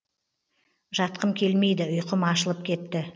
жатқым келмейді ұйқым ашылып кетті